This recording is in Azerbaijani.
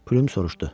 Plüm soruşdu: